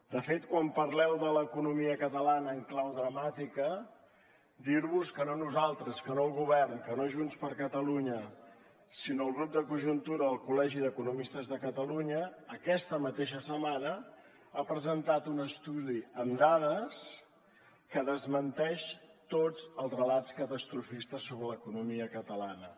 de fet quan parleu de l’economia catalana en clau dramàtica dir vos que no nosaltres que no el govern que no junts per catalunya sinó el grup de conjuntura del col·legi d’economistes de catalunya aquesta mateixa setmana ha presentat un estudi amb dades que desmenteix tots els relats catastrofistes sobre l’economia catalana